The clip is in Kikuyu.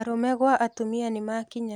Arũme gwa atumia nĩmakinya